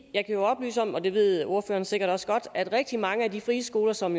jeg kan oplyse om og det ved ordføreren sikkert også godt at rigtig mange af de frie skoler som